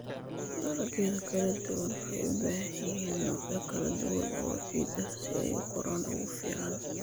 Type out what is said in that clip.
Dalagyada kala duwan waxay u baahan yihiin noocyo kala duwan oo ciid ah si ay u koraan ugu fiican.